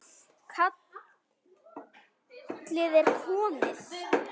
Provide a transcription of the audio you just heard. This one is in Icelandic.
Kallið er komið